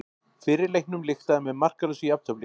Fyrri leiknum lyktaði með markalausu jafntefli